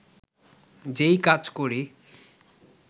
যেই কাজ করি